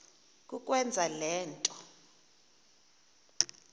kukwenza le nto